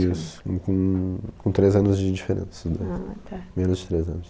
Isso, com com três anos de diferença, menos de três anos.